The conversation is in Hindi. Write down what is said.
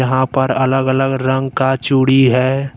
यहाँ पर अलग-अलग रंग का चूड़ी है।